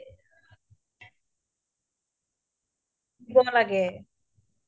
সৰু সৰু ল'ৰা ছোৱালি বোৰ আমি সৰুৰ পৰাই শিক্ষা দিব লাগিব যে নাই dustbin পেলুৱা